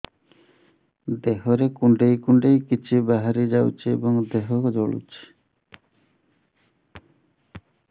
ଦେହରେ କୁଣ୍ଡେଇ କୁଣ୍ଡେଇ କିଛି ବାହାରି ଯାଉଛି ଏବଂ ଦେହ ଜଳୁଛି